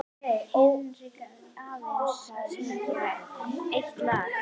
Hinkraðu aðeins og syngdu eitt lag enn.